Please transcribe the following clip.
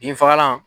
Binfagalan